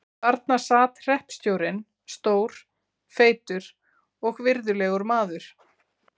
Þarna sat hreppstjórinn, stór, feitur og virðulegur maður.